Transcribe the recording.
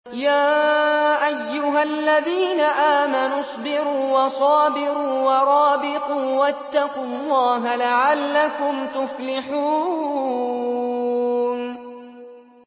يَا أَيُّهَا الَّذِينَ آمَنُوا اصْبِرُوا وَصَابِرُوا وَرَابِطُوا وَاتَّقُوا اللَّهَ لَعَلَّكُمْ تُفْلِحُونَ